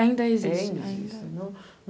Ainda existe.